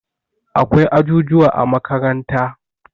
akwai ajujuwa a makaranta